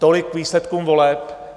Tolik k výsledkům voleb.